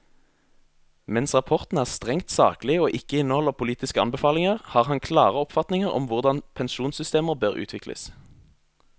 Mens rapporten er strengt saklig og ikke inneholder politiske anbefalinger, har han klare oppfatninger om hvordan pensjonssystemer bør utvikles.